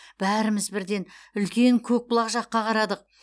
бәріміз бірден үлкен көкбұлақ жаққа қарадық